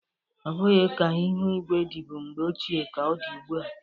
Ọ bụghị ka ịhụ igwe dịbụ mgbe ochie ka ọ dị ugbu a.